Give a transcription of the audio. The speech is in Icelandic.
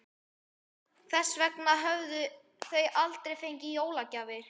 Þess vegna höfðu þau aldrei fengið jólagjafir.